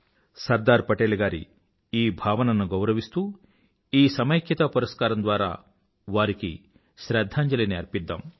సర్దార్ పటేల్ గారి ఈ భావనను గౌరవిస్తూ ఈ సమైక్యతా పురస్కారం ద్వారా వారికి శ్రధ్ధాంజలిని అర్పిద్దాం